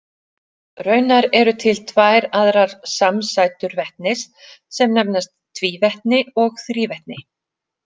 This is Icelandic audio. Raunar eru til tvær aðrar samsætur vetnis sem nefnast tvívetni og þrívetni.